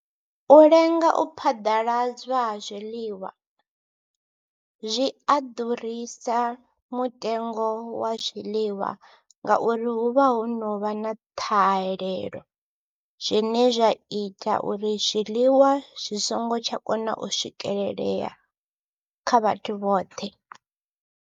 U lenga u phaḓaladzwa ha zwiḽiwa zwi a ḓurisa mutengo wa zwiḽiwa ngauri hu vha ho no vha na ṱhahelelo zwine zwa ita uri zwiḽiwa zwi songo tsha kona u swikelelea kha vhathu vhoṱhe.